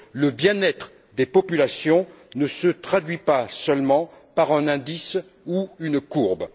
Le bien être des populations ne se traduit pas seulement par un indice ou une courbe.